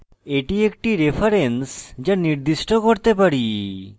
এটি একটি reference যা নির্দিষ্ট করতে পারি